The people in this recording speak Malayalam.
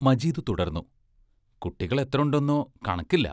മജീദ് തുടർന്നു: കുട്ടികളെത്രയുണ്ടെന്നോ കണക്കില്ല.